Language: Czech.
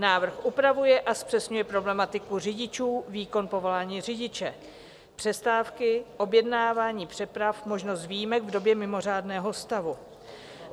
Návrh upravuje a zpřesňuje problematiku řidičů, výkon povolání řidiče, přestávky, objednávání přeprav, možnost výjimek v době mimořádného stavu.